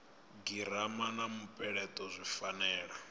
girama na mupeleto zwi fanela